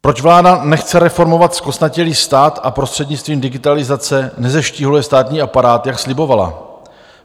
Proč vláda nechce reformovat zkostnatělý stát a prostřednictvím digitalizace nezeštíhluje státní aparát, jak slibovala?